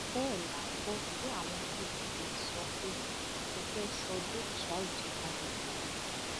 bẹẹ la gbọ tí àwọn pdp ń sọ pé mo fẹẹ sọ dúkìá ìjọba di tèmi